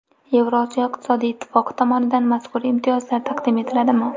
Yevrosiyo iqtisodiy ittifoqi tomonidan mazkur imtiyozlar taqdim etiladimi?